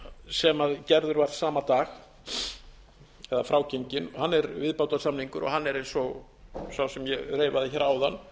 sem gerður var sama dag eða frágenginn er viðbótarsamningur hann er eins og sá sem ég reifaði hér áðan